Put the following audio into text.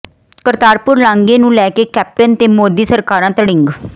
ਕਰਤਾਰਪੁਰ ਲਾਂਘੇ ਨੂੰ ਲੈ ਕੇ ਕੈਪਟਨ ਤੇ ਮੋਦੀ ਸਰਕਾਰਾਂ ਤੜਿੰਗ